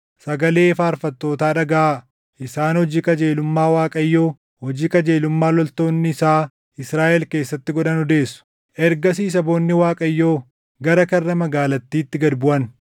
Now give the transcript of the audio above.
sagalee faarfattootaa dhagaʼaa. Isaan hojii qajeelummaa Waaqayyoo, hojii qajeelummaa loltoonni isaa Israaʼel keessatti godhan odeessu. “Ergasii saboonni Waaqayyoo, gara karra magaalattiitti gad buʼan.